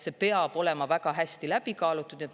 See peab olema väga hästi läbi kaalutud.